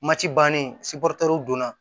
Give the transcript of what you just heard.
Mati bannen donna